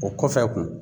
O kɔfɛ kun